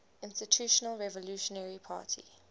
institutional revolutionary party